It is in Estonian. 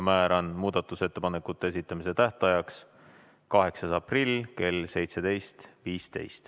Määran muudatusettepanekute esitamise tähtajaks 8. aprilli kell 17.15.